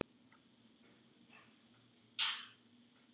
Ekki í bráð.